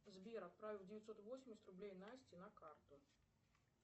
сбер отправь девятьсот восемьдесят рублей насте на карту